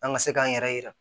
An ka se k'an yɛrɛ yira